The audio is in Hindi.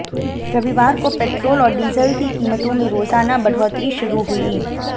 रविवार को पेटोल और डीजल की कीमतों में रोजाना बढ़ोतरी शु्रू हुई